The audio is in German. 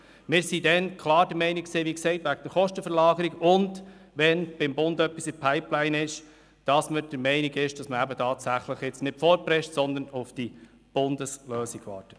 Wir waren damals klar der Meinung, man sollte bezüglich Kostenverlagerung auch aufgrund des Vorstosses auf Bundesebene nicht vorpreschen, sondern auf die Bundeslösung warten.